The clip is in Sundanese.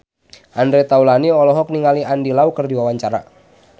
Andre Taulany olohok ningali Andy Lau keur diwawancara